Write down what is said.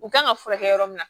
U kan ka furakɛ yɔrɔ min na